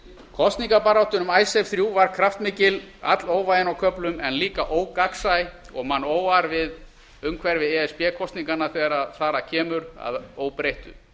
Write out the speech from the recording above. kosningabaráttan um icesave þrjú var kraftmikil allóvægin á höfnun en líka ógagnsæ og mann óar við umhverfi e s b kosninganna þegar þar að kemur að óbreyttu